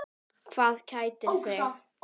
Hvað kætir þig?